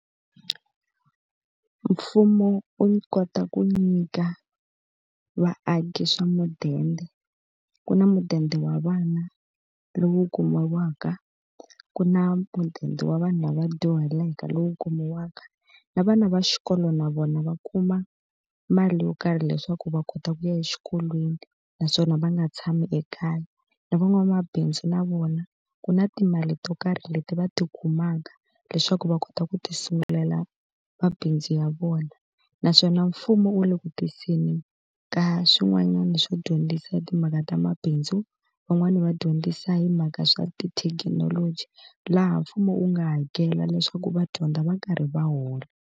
Mfumo u kota ku nyika vaaki swa mudende. Ku na mudende wa vana lowu kumiwaka, ku na mudende wa vanhu lava dyuhaleke lowu kumiwaka, na vana va xikolo na vona va kuma mali yo karhi leswaku va kota ku ya exikolweni naswona va nga tshami ekaya. Na van'wamabindzu na vona ku na timali to karhi leti va ti kumaka leswaku va kota ku tisungulela mabindzu ya vona. Naswona mfumo wu le ku tiseni ka swin'wanyana swo dyondzisa hi timhaka ta mabindzu, van'wani va dyondzisa hi mhaka swa tithekinoloji laha mfumo wu nga hakela leswaku va dyondza va karhi va hola.